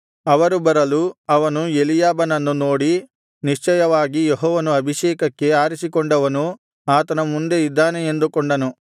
ಅವರು ಬರಲು ಅವನು ಎಲೀಯಾಬನನ್ನು ನೋಡಿ ನಿಶ್ಚಯವಾಗಿ ಯೆಹೋವನು ಅಭಿಷೇಕಕ್ಕೆ ಆರಿಸಿಕೊಂಡವನು ಆತನ ಮುಂದೆ ಇದ್ದಾನೆ ಎಂದುಕೊಂಡನು